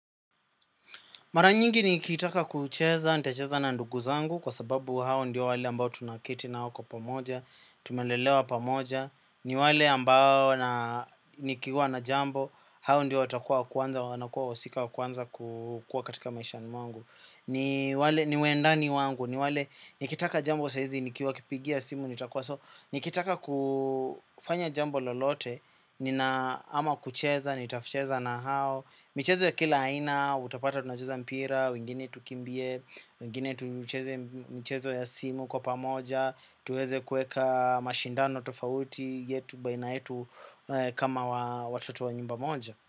Mara nyingi nikitaka kucheza, nitacheza na ndugu zangu kwa sababu hao ndio wale ambao tunaketi nao wako pamoja, tumelelewa pamoja, ni wale ambao nikiwa na jambo, hao ndio watakuwa kwanza, wanakuwa wosika kwanza kukua katika maishani wangu. Ni wendani wangu, ni wale nikitaka jambo saizi, nikiwa kipigia simu, nitakuwa so nikitaka kufanya jambo lolote, nina ama kucheza, nitafucheza na hao. Michezo ya kila aina, utapata tunajeza mpira, wengine tukimbie, wengine tuucheze michezo ya simu kwa pamoja tuweze kueka mashindano tofauti yetu baina yetu kama watatu wa nyumba moja.